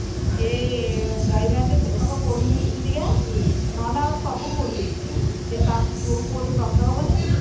ସେ ସେତକ ପୋଡିନି କେମିତିକା ନହେଲେ ଆଉ ସବୁ ପୋଡି ଯାଇଥିଲା ସେ ତା ଯୋଉ ପୁଅ ଟି ବ୍ରତ ହବନି